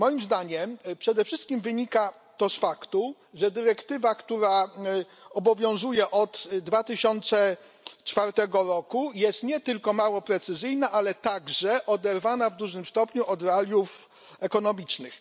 Moim zdaniem przede wszystkim wynika to z faktu, że dyrektywa, która obowiązuje od 2004 roku jest nie tylko mało precyzyjna, ale także oderwana w dużym stopniu od realiów ekonomicznych.